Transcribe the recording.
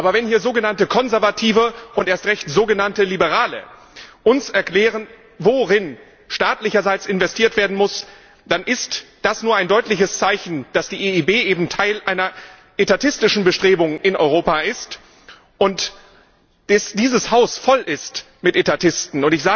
Aber wenn hier sogenannte Konservative und erst recht sogenannte Liberale uns erklären, worin staatlicherseits investiert werden muss, dann ist das nur ein deutliches Zeichen, dass die EIB eben Teil einer etatistischen Bestrebung in Europa ist und dass dieses Haus voll ist mit Etatisten.